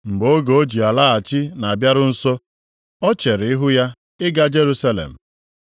Mgbe oge o ji alaghachi na-abịaru nso, o chere ihu ya ịga Jerusalem.